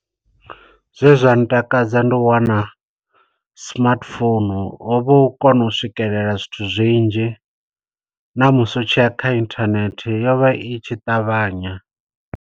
Zwe zwa ntakadza ndi u wana smartphone, hovha hu u kona u swikelela zwithu zwinzhi, na musi u tshiya kha inthanethe yo vha itshi ṱavhanya.